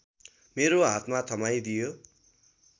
मेरो हातमा थमाइदियो